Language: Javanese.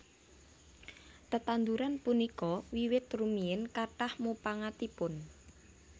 Tetanduran punika wiwit rumiyin kathah mupangatipun